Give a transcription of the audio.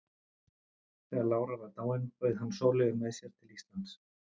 Þegar lára var dáin bauð hann Sóleyju með sér til Íslands.